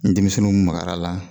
Nin denmisɛnniw magara la.